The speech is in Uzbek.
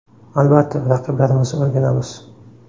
Albatta, raqiblarimizni o‘rganamiz.